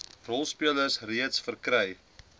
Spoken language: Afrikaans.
rolspelers reeds verkry